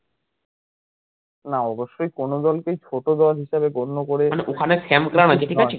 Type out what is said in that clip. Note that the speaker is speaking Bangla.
না অবশ্যই কোনো দল কেই ছোট দল হিসেবে গণ্য করে